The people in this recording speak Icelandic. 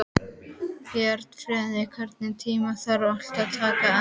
Björnfríður, einhvern tímann þarf allt að taka enda.